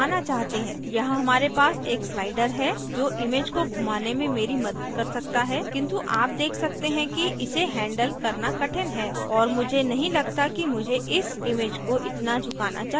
यहाँ हमारे पास एक slider है जो image को घुमाने में here मदद कर सकता है किन्तु आप देख सकते हैं कि इसे handle करना कठिन है और मुझे नहीं लगता कि मुझे इस image को इतना झुकाना चाहिए